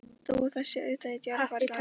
Þó að það sé auðvitað í djarfara lagi.